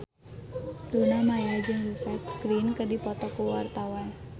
Luna Maya jeung Rupert Grin keur dipoto ku wartawan